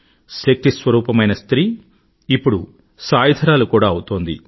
శక్తిస్వరూపమైన స్త్రీ ఇప్పుడు సాయుధురాలు కూడా అవుతోంది